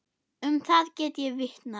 Um það get ég vitnað.